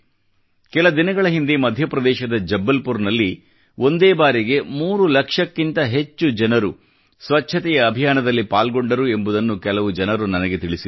ಕೆಲ ದಿನಗಳ ಹಿಂದೆ ಮಧ್ಯಪ್ರದೇಶದ ಜಬ್ಬಲ್ಪುಾರದಲ್ಲಿ ಒಂದೇ ಬಾರಿಗೆ 3 ಲಕ್ಷಕ್ಕಿಂತ ಹೆಚ್ಚು ಜನರು ಸ್ವಚ್ಛತೆಯ ಅಭಿಯಾನದಲ್ಲಿ ಪಾಲ್ಗೊಂಡರು ಎಂಬುದನ್ನು ಕೆಲ ಜನರು ನನಗೆ ತಿಳಿಸಿದರು